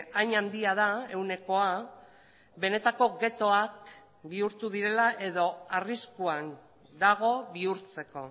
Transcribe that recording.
hain handia da ehunekoa benetako ghettoak bihurtu direla edo arriskuan dago bihurtzeko